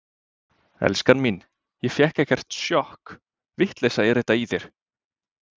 Elskan mín, ég fékk ekkert sjokk, vitleysa er þetta í þér!